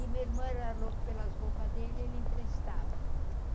E a minha irmã era louca pelas roupas dele, ele emprestava.